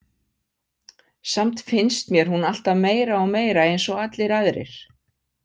Samt finnst mér hún alltaf meira og meira eins og allir aðrir.